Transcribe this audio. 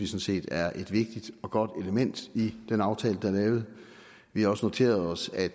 set er et vigtigt og godt element i den aftale der er lavet vi har også noteret os at